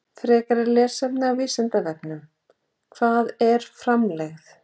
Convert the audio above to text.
Frekara lesefni á Vísindavefnum: Hvað er framlegð?